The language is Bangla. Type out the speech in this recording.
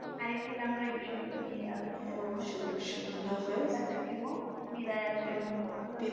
আরেক দিন আমরা এই বিষয় গুলনিয়ে আচ্ছা প্রিমো বিদায় আজকের মতো